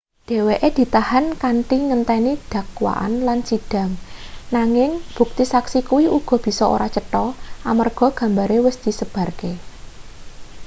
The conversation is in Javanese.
dheweke ditahan kanthi ngenteni dakwaan lan sidhang nanging bukti saksi kuwi uga bisa ora cetho amarga gambare wis disebarke